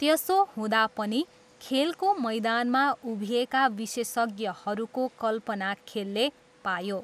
त्यसो हुँदा पनि, खेलको मैदानमा उभिएका विशेषज्ञहरूको कल्पना खेलले पायो।